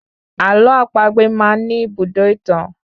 Àlọ́ àpagbè máá ń ní ibùdó ìtàn